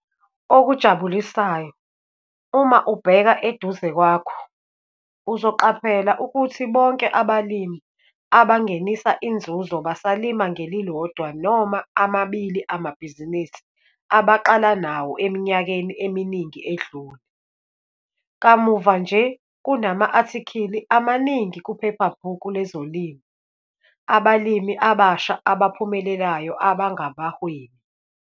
Okujabulisayo, uma ubheka eduze kwakho - uzoqaphela ukuthi bonke abalimi abangenisa inzuzo basalima ngelilodwa noma amabili amabhizinisi abaqala nawo eminyakeni eminingi edlule. Kamuva nje kunama-athikhili amaningi kuphephabhuku lezolimo abalimi abasha abaphumelelayo abangabahwebi.